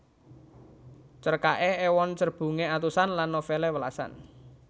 Cerkaké ewon cerbungé atusan lan novèlé welasan